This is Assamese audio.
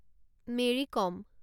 মেৰী কম